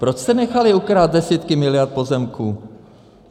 Proč jste nechali ukrást desítky miliard pozemků?